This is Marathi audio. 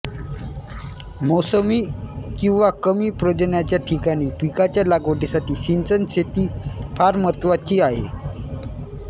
मौसमी किंवा कमी पर्जन्यमानाच्या ठिकाणी पिकाच्या लागवडीसाठी सिंचन शेती फार महत्त्वाची आहे